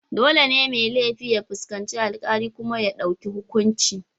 Dole ne mai laifi ya fuskanci alkali kuma ya dauki hukunci.